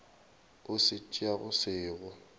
o se tšeago se go